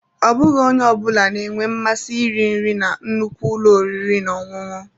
Ọ bụghị onye ọ bụla na-enwe mmasị iri nri na nnukwu ụlọ oriri na ọṅụṅụ.